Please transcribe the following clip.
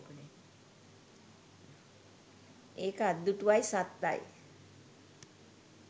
ඒක අත්දුටුවයි සත්තයි!